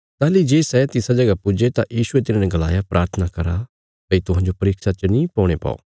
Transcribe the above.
ताहली जे सै तिसा जगह पुज्जे तां यीशुये तिन्हाने गलाया प्राथना करा भई तुहांजो परीक्षा च नीं पौणे पौ